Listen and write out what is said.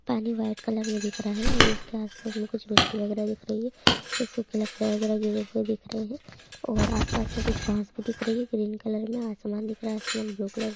पानी white colour में दिख रा है और इसके आस-पास में कुछ मिट्टी वगैरा दिख रही है। कुछ सूखी लकड़ा वैगेरा दिख रहे हैं और आस-पास में कुछ घाँस भी दिख रही है ग्रीन कलर में आसमान दिख रहा है आसमान ब्लू कलर --